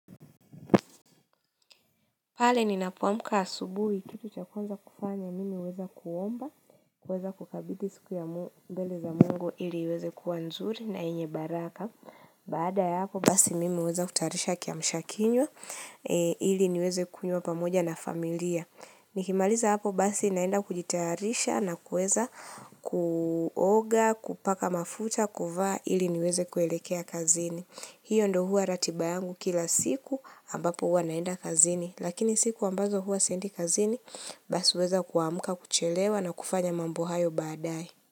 Pale ninapoamka asubuhi kitu cha kwanza kufanya mimi huwesa kuomba, huweza kukabidi siku ya mbele za mungu ili iweze kuwa nzuri na yenye baraka. Baada ya hapo basi mimi huweza kutayarisha kiamshakinywa ili niweze kunywa pamoja na familia. Nikimaliza hapo basi naenda kujitarisha na kuweza kuoga, kupaka mafuta, kuvaa ili niweze kuelekea kazini. Hiyo ndo huwa ratiba yangu kila siku ambapo huwa naenda kazini, lakini siku ambazo huwa siendi kazini basi huweza kuamka kuchelewa na kufanya mambo hayo baadaye.